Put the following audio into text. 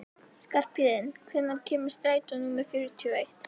Skarphéðinn, hvenær kemur strætó númer fjörutíu og eitt?